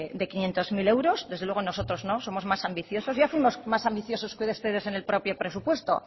de quinientos mil euros desde luego nosotros no somos más ambiciosos y hace más ambiciosos que ustedes en el propio presupuesto